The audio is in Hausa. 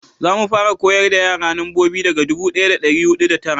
za mu fara koyar da yara nambobi daga dubu daya da dari hudu da tara